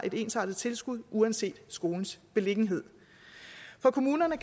ensartet tilskud uanset skolens beliggenhed for kommunerne